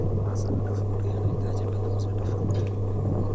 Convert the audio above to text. Mazao tofauti yanahitaji matunzo tofauti.